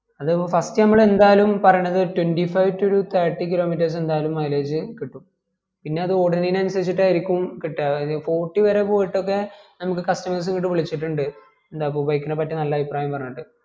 അത് first ഞമ്മള് എന്തായാലും പറയണത് ഒരു twenty five to ഒരു thirty kilometers എന്തായാലും mileage കിട്ടും പിന്നെ അത് ഓടുനഅയ്ൻ അനുസരിച്ചാട്ടായിരിക്കും കിട്ടുവാ ഒരു forty വരെ പോയിട്ടൊക്കെ നമക്ക് customers വീണ്ടും വിളിച്ചിട്ടിണ്ട് എന്താപ്പാ bike നെ പറ്റി നല്ല അഭിപ്രായം പറഞ്ഞിട്ട്